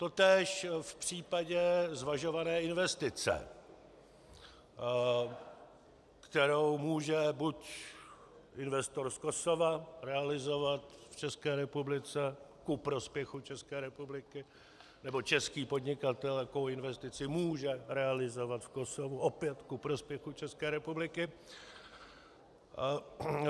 Totéž v případě zvažované investice, kterou může buď investor z Kosova realizovat v České republice ku prospěchu České republiky, nebo český podnikatel takovou investici může realizovat v Kosovu opět ku prospěchu České republiky.